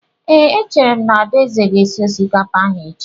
Ee, echere m na Adaeze ga-esi osikapa ahụ echi.